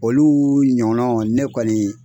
Olu ɲɔgɔnna ne kɔni